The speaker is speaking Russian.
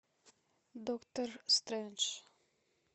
доктор стрэндж